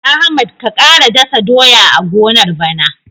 Ahmad ka ƙara dasa doya a gonar bana.